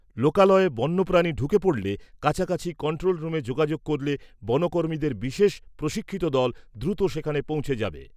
লোকালয়ে বন্যপ্রানী ঢুকে পড়লে, কাছাকাছি কন্ট্রোল রুমে যোগাযোগ করলে বনকর্মীদের বিশেষ প্রশিক্ষিত দল দ্রুত সেখানে পৌঁছে যাবে।